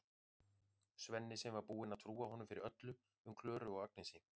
Svenni sem var búinn að trúa honum fyrir öllu um Klöru og Agnesi.